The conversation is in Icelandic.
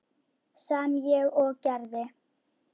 Sem ég og gerði.